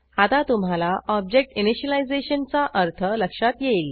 आता तुम्हाला object initialization चा अर्थ लक्षात येईल